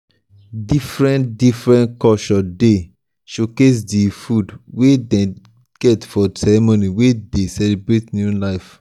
different-different culture dey showcase di food wey dem get for ceremony wey dey celebrate new life.